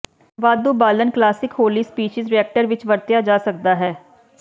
ਵਾਧੂ ਬਾਲਣ ਕਲਾਸਿਕ ਹੌਲੀ ਸਪੀਸੀਜ਼ ਰਿਐਕਟਰ ਵਿੱਚ ਵਰਤਿਆ ਜਾ ਸਕਦਾ ਹੈ